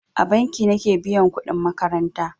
A banki nake biyan kudin makaranta.